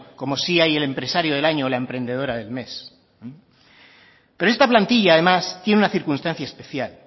como si hay el empresario del año o la emprendedora del mes pero esta plantilla además tiene una circunstancia especial